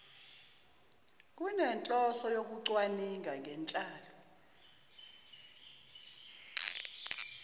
kunenhloso yokucwaninga ngenhlalo